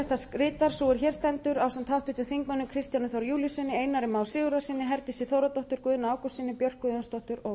rita sú er hér stendur ásamt háttvirtum þingmanni kristjáni þór júlíussyni einari má sigurðarsyni herdísi þórðardóttur guðna ágústssyni björk guðjónsdóttur og